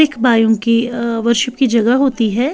एक बायू की अ वशू की जगह होती है।